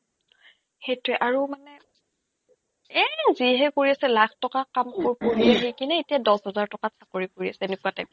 সিটোয়ে আৰু মানে এই যিহে কৰি আছে লাখ টকা কামবোৰ কিনে এতিয়া দছ হাজাৰ টকাত চাকৰি কৰি আছে এনেকুৱা